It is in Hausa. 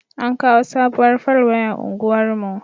An kawo sabuwar fal waya unguwar mu